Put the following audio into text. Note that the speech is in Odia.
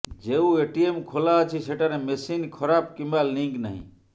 ଯେଉଁ ଏଟିଏମ୍ ଖୋଲା ଅଛି ସେଠାରେ ମେସିନ୍ ଖରାପ୍ କିମ୍ବା ଲିଙ୍କ୍ ନାହିଁ